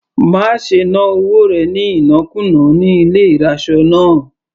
Má ṣe ná owó rẹ̀ ní ìnákùná ní ilé ìraṣọ náà.